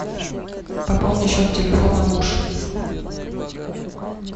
пополни счет телефона муж